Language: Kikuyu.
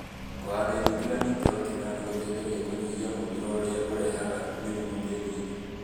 Kũhanda irio itiganĩte o kĩmera nĩ gũteithagia kũnyihia mũthiro ũrĩa ũrehaga mĩrimũ tĩĩri-inĩ